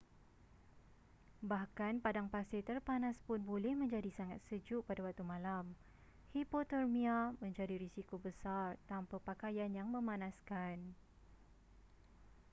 bahkan padang pasir terpanas pun boleh menjadi sangat sejuk pada waktu malam hipotermia menjadi risiko besar tanpa pakaian yang memanaskan